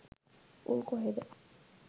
උන් කොහේද